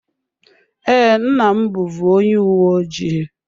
Ee, nna m bụvu onye uwe ojii.